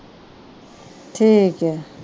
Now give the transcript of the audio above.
ਠੀਕ ਆ।